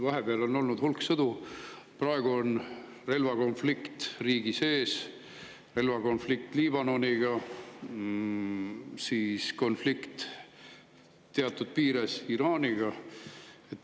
Vahepeal on olnud hulk sõdu, praegu on relvakonflikt riigis sees, relvakonflikt Liibanoniga, samuti konflikt teatud piires Iraaniga.